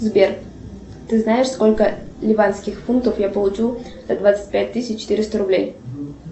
сбер ты знаешь сколько ливанских фунтов я получу за двадцать пять тысяч четыреста рублей